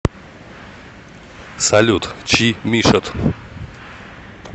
салют чи мишод